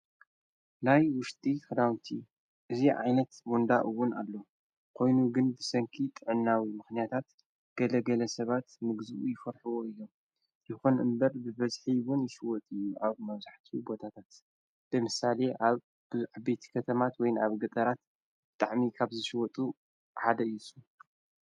ላይ ውሽጢ ኽራውንቲ እዙ ዓይለት ወንዳኡውን ኣሎ ኾይኑ ግን ብሰንኪ ጥዕናዊ ምኽንያታት ገደገለ ሰባት ምግዝኡ ይፈርሕዎ እዮም ይኾን እምበር ብበዝሒይውን ይሽወጥ እዩ ኣብ መውዙሕቲ ቦታታት ብምሳሌ ኣብ ብልዕቤት ከተማት ወይን ኣብ ገጠራት ብጣዕሚ ካብ ዝሽወጡ ሓደ የሱ።